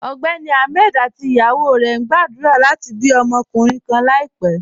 Ọgbẹ́ni Ahmed àti ìyàwó rẹ̀ ń gbàdúrà láti bí ọmọkunrìǹ kàn láìpẹ̀.